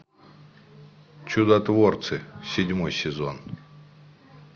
чудотворцы седьмой сезон